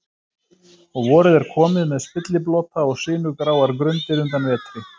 Og vorið er komið með spilliblota og sinugráar grundir undan vetri.